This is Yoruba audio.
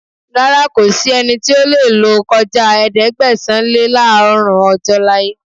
Rárá, kò sí ẹnì tí ó lè lò kọjá Ẹ̀ẹ́dẹ̀gbẹ̀sán-lé-láàọ́rùn ọjọ́ láyé.